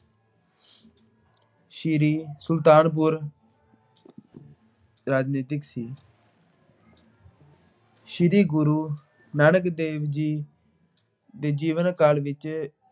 ਸ੍ਰੀ ਅਹ ਸੁਲਤਾਨਪੁਰ ਰਾਜਨੀਤਿਕ ਸੀ। ਸ੍ਰੀ ਗੁਰੂ ਨਾਨਕ ਦੇਵ ਜੀ ਦੇ ਜੀਵਨ ਕਾਲ ਵਿੱਚ